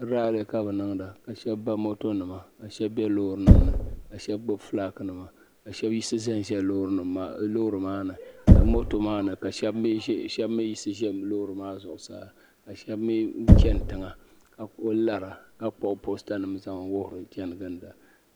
raali ka bi niŋda ka shab ba moto nima ka shab bɛ loori nim ni ka shab gbubi fulaaki nima ka shab yiɣisi ʒɛnʒɛ loori nim maa ni ka moto maa ni ka shab mii yiɣisi ʒɛ loori maa zuɣusaa ka shab mii chɛni tiŋa ka ku lara ka kpuɣi posta nim zaŋ di wuhiri chɛni ginda